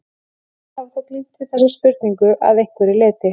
Sumir hafa þó glímt við þessa spurningu að einhverju leyti.